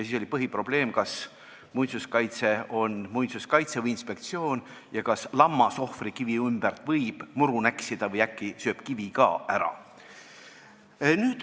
Siis oli põhiprobleem, kas muinsuskaitse on amet või inspektsioon ja kas lammas võib ohvrikivi ümber muru näksida või äkki sööb kivi ka ära.